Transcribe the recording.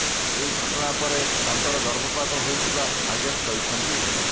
ଏହି ଘଟଣା ପରେ ତାଙ୍କର ଗର୍ଭପାତ ହୋଇଥିବା ନାଗେଶ କହିଛନ୍ତି